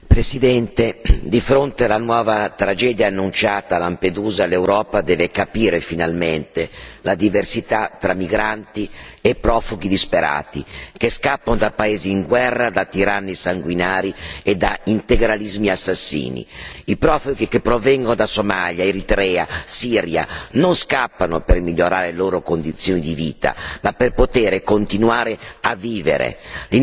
Signor Presidente, onorevoli colleghi, di fronte alla nuova tragedia annunciata a Lampedusa, l'Europa deve capire finalmente la diversità tra migranti e profughi disperati, che scappano da paesi in guerra, da tiranni sanguinari e da integralismi assassini. I profughi che provengono da Somalia, Eritrea, Siria, non scappano per migliorare le loro condizioni di vita, ma per poter continuare a vivere.